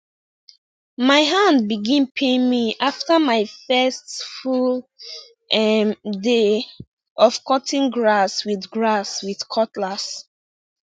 my hand begin pain me after my first full um day of cutting grass with grass with cutlass